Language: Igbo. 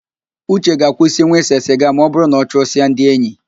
Uche ga-akwụsinwu ịse siga ma ọbụrụ na ọ chụsịa ndi enyi